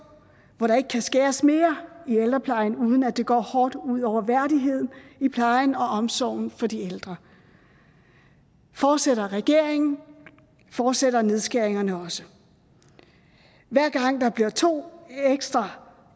hvor der ikke kan skæres mere i ældreplejen uden at det går hårdt ud over værdigheden i plejen og omsorgen for de ældre fortsætter regeringen fortsætter nedskæringerne også hver gang der bliver to ekstra